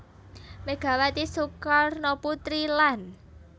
Megawati Soekarnoputri lan